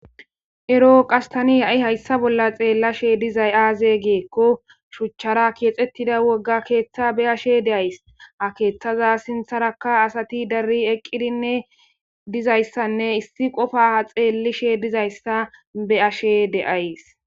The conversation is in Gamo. ero qastani ha7i hayssa bolla xeellashe dizay aaze geekko shuchchara keexettida wogga keeththa be ashe deays a keeththaza sintharaka asati dari eqqidinne dizayssanne issi qofa xeellishe dizayssa be ashe deays